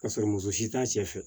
Ka sɔrɔ muso si t'a cɛ fɛ